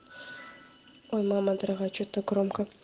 ой мама дорогая чё так громко